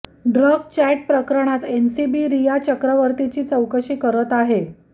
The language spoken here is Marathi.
ड्रग चॅट प्रकरणात एनसीबी रिया चक्रवर्तीची चौकशी करत आहे